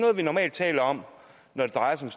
vi normalt taler om når det drejer sig